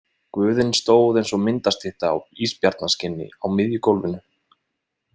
Guðinn stóð eins og myndastytta á ísbjarnarskinni á miðju gólfinu.